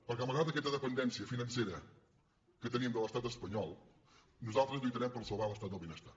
perquè malgrat aquesta dependència financera que tenim de l’estat espanyol nosaltres lluitarem per salvar l’estat del benestar